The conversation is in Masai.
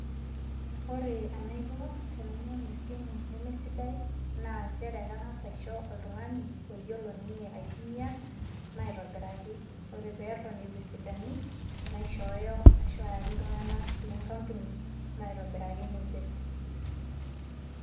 Ore enaiko tenainyang'u esimu nemesidai, naa njere ang'as aisho oltung'ani oyiolo ninye aitumia maitobiraki. Ore peton eitu esidanu, naishooyo ashu ayaki iltung'anak le nkampuni maitobiraki ninche.